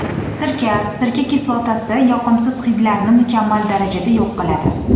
Sirka Sirka kislotasi yoqimsiz hidlarni mukammal darajada yo‘q qiladi.